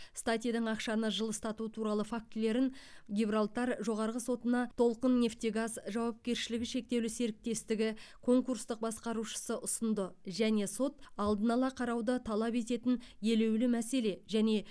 статидің ақшаны жылыстату туралы фактілерін гибралтар жоғарғы сотына толқыннефтегаз жауапкершілігі шектеулі серіктестігі конкурстық басқарушысы ұсынды және сот алдын ала қарауды талап ететін елеулі мәселе және